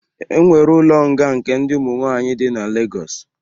E nwere ụlo nga nke ndi ụmu nwaanyị dị na Lagos